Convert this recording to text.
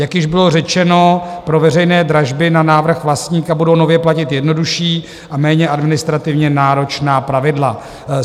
Jak již bylo řečeno, pro veřejné dražby na návrh vlastníka budou nově platit jednodušší a méně administrativně náročná pravidla.